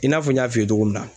I n'a fɔ n y'a f'i ye cogo min na.